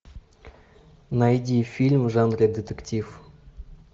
найди фильм в жанре детектив